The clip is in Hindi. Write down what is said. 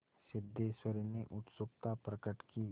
सिद्धेश्वरी ने उत्सुकता प्रकट की